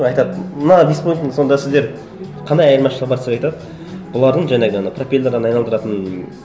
айтады мына беспилотник сонда сіздер қандай айырмашылығы бар десе айтады бұлардың жаңағы ана пропеллерің айналдыратын